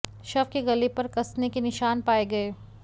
शव के गले पर कसने के निशान पाये गये